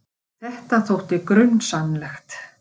Þetta þótti grunsamlegt.